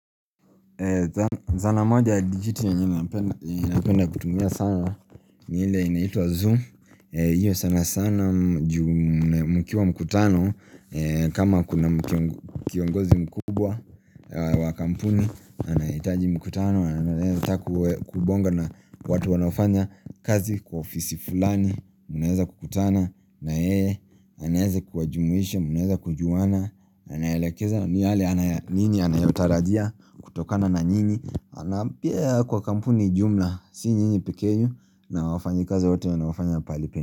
Zana moja ya digit yenye napenda kutumia sana ni ile inaitwa Zoom Iyo sana sana mkiwa mkutano kama kuna kiongozi mkubwa wa kampuni anahitaji mkutano, kubonga na watu wanafanya kazi kwa ofisi fulani Munaeza kukutana, na yeye anaeza kuwajumuisha, munaeza kujuwana na naelekeza ni yale nini anayotarajia kutokana na nini Anapia kwa kampuni jumla si nyinyi pikeenu na wafanyakazi wote wanaofanya palipen.